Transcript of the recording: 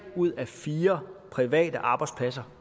ud af fire private arbejdspladser